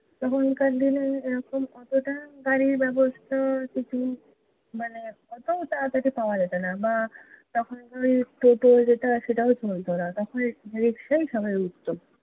তখনকার দিনে এরকম অতোটা গাড়ির ব্যবস্থা, মানে অতো তারাতারি পাওয়া যেত না। বা তখন অই টোটো যেটা, সেটাও মিলত না। তখন রিকশায় সবাই উঠতো।